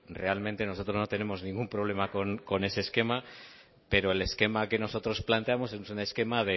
realmente nosotros no tenemos ningún problema con ese esquema pero el esquema que nosotros planteamos es un esquema